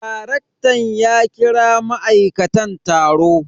Darektan ya kira ma'aikatan taro.